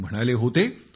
ते म्हणाले होते